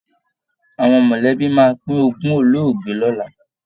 Àwọn mọ̀lẹ́bí máa pín ogún olóògbé lọ́la